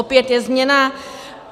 Opět je změna.